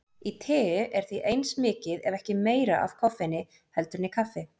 Í tei er því eins mikið ef ekki meira af koffeini heldur en í kaffi.